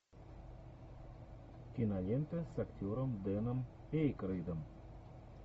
кинолента с актером деном эйкройдом